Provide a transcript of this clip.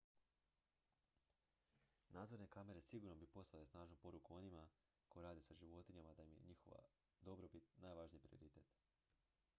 """nadzorne kamere sigurno bi poslale snažnu poruku onima koji rade sa životinjama da im je njihova dobrobit najvažniji prioritet.""